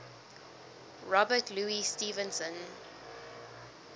robert louis stevenson